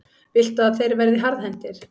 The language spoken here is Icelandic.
Viltu að þeir verði harðhentir?